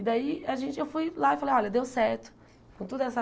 E daí a gente eu fui lá e falei, olha, deu certo, com toda essa...